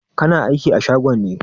Kana aiki a shagon ne?